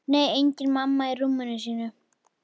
Nei, engin mamma í rúminu sínu.